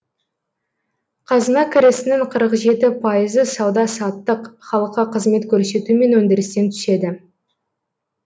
қазына кірісінің қырық жеті пайызы сауда саттық халыққа қызмет көрсету мен өндірістен түседі